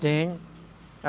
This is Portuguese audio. Tenho.